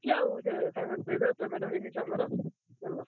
~ଚାଲିଚି ଆଉ ସେ ସାଙ୍ଗେ ସାଙ୍ଗେ ଦେଇଦେବେ payment ହେଇନି ଛୁଆଙ୍କର ।